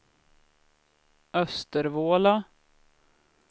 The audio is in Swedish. Östervåla